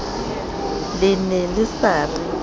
le ne le sa re